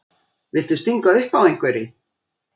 Viltu stinga upp á einhverri?